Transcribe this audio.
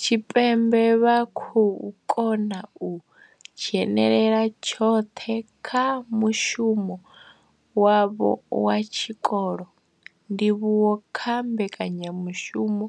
Tshipembe vha khou kona u dzhenela tshoṱhe kha mushumo wavho wa tshikolo, ndivhuwo kha mbekanya mushumo